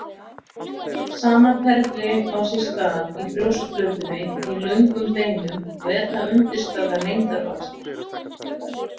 Sama ferli á sér stað í brjóskplötunni í löngum beinum og er það undirstaða lengdarvaxtar.